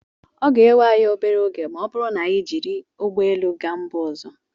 ọ ga-ewe anyị obere oge ma ọ bụrụ na anyị jiri ụgbọ elu gaa mba ọzọ